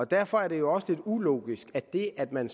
derfor er det jo også lidt ulogisk at det at man